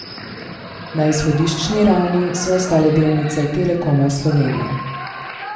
Na izhodiščni ravni so ostale delnice Telekoma Slovenije.